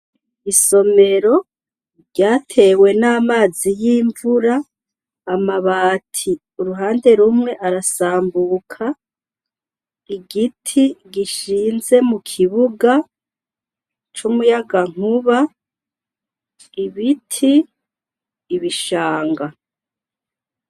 Isomero, ryatewe n'amazi y'imvura, amabati uruhande rumwe arasambuka, igiti gishinze mu kibuga, c'umuyagankuba, ibiti, ibishanga.